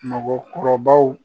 Mɔgɔkɔrɔbaw